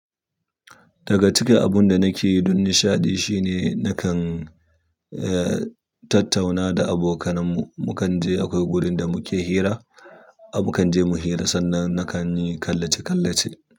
Daga cikin abunda nake yi don nishaɗi shine nakan eh, tattauna da abokanan mu. Mukan je akwai wurinda muke hira, a mu kan je mu hira sannan nakan yi kallace kallace.